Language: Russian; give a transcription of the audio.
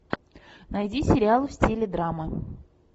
найди сериал в стиле драмы